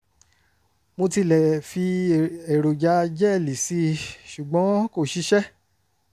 mo tilẹ̀ fi èròjà jẹ́ẹ̀lì sí i ṣùgbọ́n kò ṣiṣẹ́